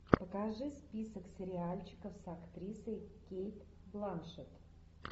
покажи список сериальчиков с актрисой кейт бланшетт